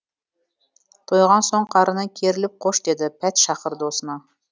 тойған соң қарыны керіліп қош деді пәтшағыр досына